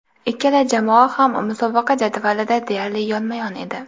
Ikkala jamoa ham musobaqa jadvalida deyarli yonma-yon edi.